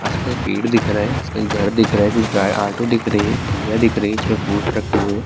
اس پاس پیڈ دکھ رہا ہے، اسکے گھردکھ رہا ہے، اوٹو دکھ رہا ہے، ٹلھیا دکھ رہی ہے، اسپے فروٹ رکھے ہوئے ہیں-